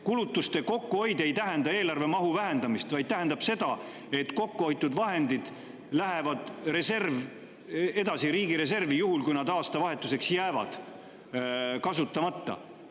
Kulutuste kokkuhoid ei tähenda eelarve mahu vähendamist, vaid tähendab seda, et kokkuhoitud vahendid lähevad edasi riigireservi, juhul kui nad aastavahetuseks jäävad kasutamata.